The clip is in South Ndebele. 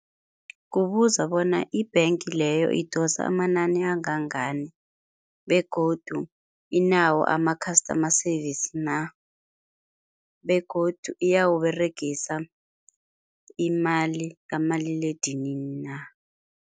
Kubuza bona, i-bank leyo idosa amanani angangani begodu inawo ama-customer service na? Begodu iyawUberegisa imali kamaliledinini na?